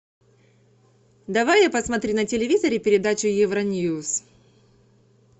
давай я посмотрю на телевизоре передачу евро ньюс